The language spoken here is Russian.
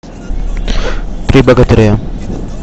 три богатыря